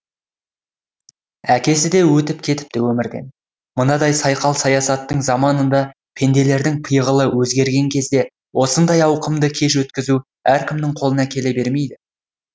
әкесі де өтіп кетіпті өмірден мынадай сайқал саясаттың заманында пенделердің пиғылы өзгерген кезде осындай ауқымды кеш өткізу әркімнің қолынан келе бермейді